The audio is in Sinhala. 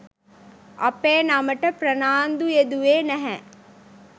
අපේ නමට ප්‍රනාන්දු යෙදුවේ නැහැ.